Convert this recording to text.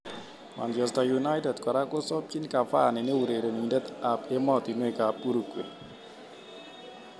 (Sun) Manchester United kora kosubchi Cavani ne urerenindet ab ematunwek ab Uruguay.